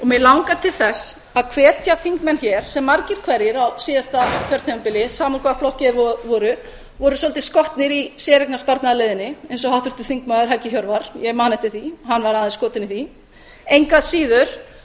mig langar til þess að hvetja þingmenn hér sem margir hverjir á síðasta kjörtímabili sama í hvaða flokki þeir voru voru svolítið skotnir í séreignarsparnaðarleiðinni eins og háttvirtur þingmaður helgi hjörvar ég man eftir því að hann var aðeins skotinn í því engu að síður